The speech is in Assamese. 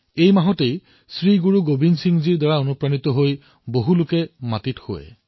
এই মাহত গুৰু গোৱিন্দ সিংজীৰ দ্বাৰা অনুপ্ৰাণিত অনেক লোকে মাটিত শোৱে